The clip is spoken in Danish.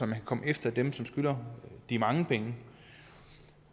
kan komme efter dem som skylder de mange penge